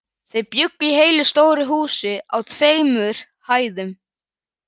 Þau bjuggu í heilu stóru húsi á tveimur hæðum.